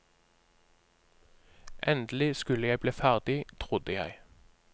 Endelig skulle jeg bli ferdig, trodde jeg.